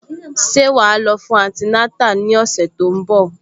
Ṣé wà á lọ fún antinátà ní ọ̀sẹ̀ tó ń bọ̀?